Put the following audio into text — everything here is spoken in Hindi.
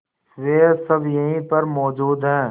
वे सब यहीं पर मौजूद है